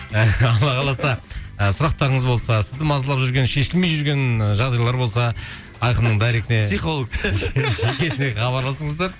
алла қаласа ы сұрақтарыңыз болса сізді мазалап жүрген шешілмей жүрген ы жағдайлар болса айқынның дайрегіне психолог жекесіне хабарласыңыздар